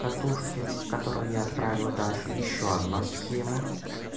катушки которую я отправил даше ещё одна схема